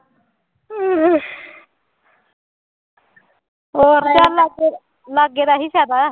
ਹੋਰ ਚੱਲ ਫਿਰ ਲਾਗੇ ਦਾ ਇਹੀ ਫ਼ਾਇਦਾ